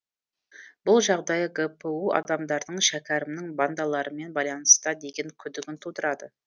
бұл жағдай гпу адамдарының шәкерімнің бандалармен байланыста деген күдігін тудырады